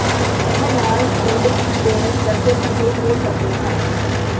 ਇਹ ਲਾਲ ਥਰਿੱਡ ਦੇ ਦੱਸੇ ਸੰਕੇਤ ਹੋ ਸਕਦੇ ਹਨ